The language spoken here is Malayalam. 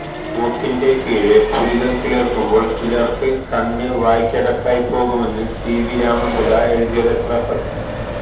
മൂക്കിന്റെ കീഴെ പുരികം കിളിർക്കുമ്പോൾ ചിലർക്ക് കണ്ണ് വായ്ക്കകത്തായിപ്പോകുമെന്ന് സിവി രാമൻപിള്ള എഴുതിയതെത്ര സത്യം